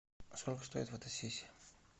сколько стоит фотосессия